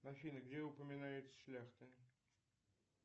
афина где упоминается шляхта